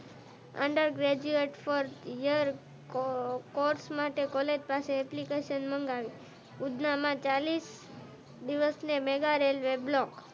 under graduate four year course માટે college પાસે application મગાવી ઉધના માં ચાલીસ દિવસ ને મેઘા રેલવે બ્લોક